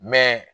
Mɛ